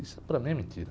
Isso para mim é mentira.